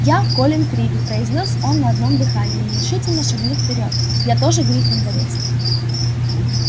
я колин криви произнёс он на одном дыхании нерешительно шагнув вперёд я тоже гриффиндорец